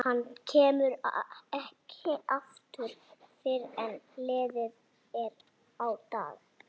Hann kemur ekki aftur fyrr en liðið er á dag.